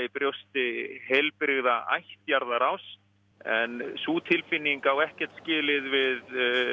brjósti heilbrigða ættjarðarást en sú tilfinning á ekkert skilið við